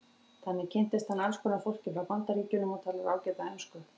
Þannig kynntist hann alls konar fólki frá Bandaríkjunum og talar ágæta ensku.